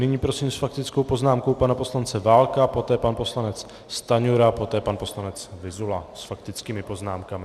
Nyní prosím s faktickou poznámkou pana poslance Válka, poté pan poslanec Stanjura, poté pan poslanec Vyzula s faktickými poznámkami.